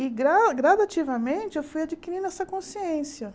E, gra gradativamente, eu fui adquirindo essa consciência.